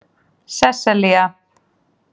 Sesselja